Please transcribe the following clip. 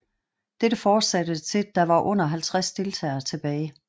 Dette fortsatte til der var under 50 deltagere tilbage